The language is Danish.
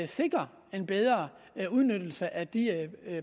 sikre en bedre udnyttelse af de